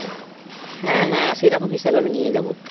হ্যাঁ হ্যাঁ সেরকম হিসাবে আমি নিয়ে যাবো।